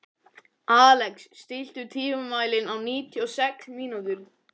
Alex, stilltu tímamælinn á níutíu og sex mínútur.